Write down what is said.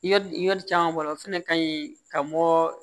Yɔrɔ caman b'a la o fɛnɛ ka ɲi ka bɔ